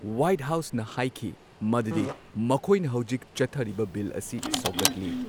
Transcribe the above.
White ꯍꯥꯎꯁꯅ ꯍꯥꯏꯈꯤ ꯃꯗꯨꯗꯤ ꯃꯈꯣꯢꯅ ꯍꯧꯖꯤꯛ ꯆꯠꯊꯔꯤꯕ ꯕꯤꯜ ꯑꯁꯤ ꯁꯧꯒꯠꯂꯤ꯫